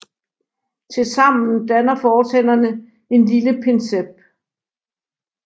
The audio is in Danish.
Tilsammen danner fortænderne en lille pincet